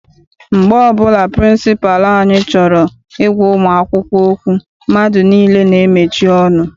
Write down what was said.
Mgbe ọbụla pịrịnsịpalụ anyị chọrọ I gwa ụmụ akwụkwọ okwu, mmadụ niile n'emechi ọnụ.